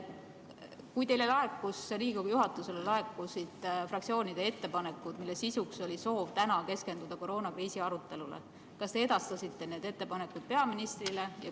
Kui teile, Riigikogu juhatusele, laekusid fraktsioonide ettepanekud, mille sisuks oli soov keskenduda täna koroonakriisi arutelule, kas te edastasite need ettepanekud peaministrile?